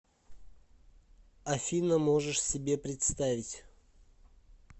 афина можешь себе представить